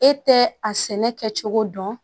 E tɛ a sɛnɛ kɛcogo dɔn